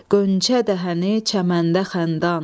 Qönçə dəhəni çəməndə xəndan,